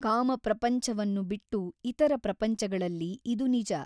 ಕಾಮಪ್ರಪಂಚವನ್ನು ಬಿಟ್ಟು ಇತರ ಪ್ರಪಂಚಗಳಲ್ಲಿ ಇದು ನಿಜ.